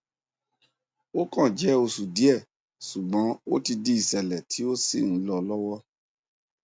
ó kàn jẹ oṣù díẹ ṣùgbọn ó ti di ìṣẹlẹ tí ó sì ń lọ lọwọ